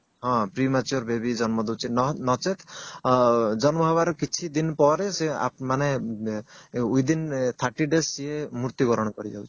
ହଁ premature baby ଜନ୍ମ ଦଉଛି ନଚେତ ଜନ୍ମ ହେବାର କିଛି ଦିନ ପରେ ସେ ମାନେ within thirty days ସିଏ ମୁର୍ତ୍ୟୁ ବରଣ କରି ଯାଉଛି